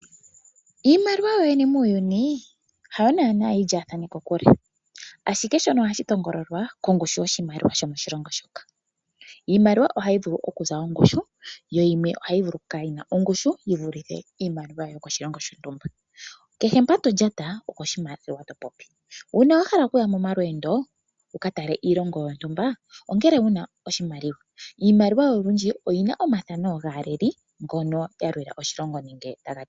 Iimaliwa yoyene muuyuni yawo naanaa yilyaathane , ashike shono ohashi tongolwa kongushu yoshimaliwa shomoshilongo shoka. Iimaliwa ohayi vulu okuza ongushu, yo yimwe ohayi vulu okukala yina ongushu, yivulithe iimaliwa yomoshilongo shontumba. Kehe mpa tolyata okoshimaliwa . Uuna wahala okuya nomalweendo wukatalelepo oshilongo shontumba ongele wuna iimaliwa. Iimaliwa olundji oyina omafano gaaleli mbono yalela oshilongo.